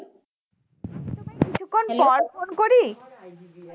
আমি তোমায় কিছুক্ষন পর phone করি